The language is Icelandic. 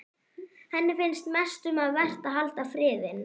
Henni finnst mest um vert að halda friðinn.